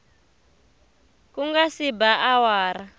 ku nga se ba awara